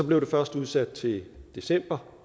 blev først udsat til december